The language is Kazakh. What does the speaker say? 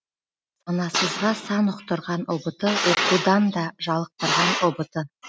санасызға сан ұқтырған ұбт оқудан да жалықтырған ұбт